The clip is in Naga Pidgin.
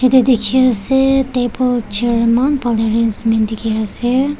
ede dikhi ase table chair eman bhal arrangement dikhi ase.